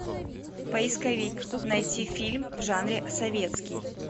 поисковик найти фильм в жанре советский